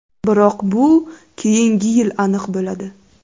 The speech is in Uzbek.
Biroq bu keyingi yil aniq bo‘ladi.